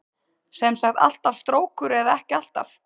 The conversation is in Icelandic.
Sem sagt alltaf strókur eða ekki alltaf?